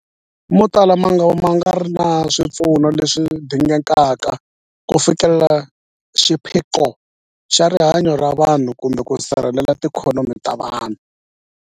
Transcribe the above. Motala mangava ma nga ri na swipfuno leswi dingekaka ku fikelela xiphiqo xa rihanyu ra vanhu kumbe ku sirhelela tiikhonomi ta vona.